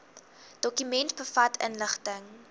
dokument bevat inligting